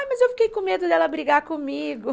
Ai, mas eu fiquei com medo dela brigar comigo.